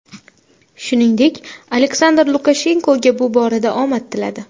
Shuningdek, Aleksandr Lukashenkoga bu borada omad tiladi.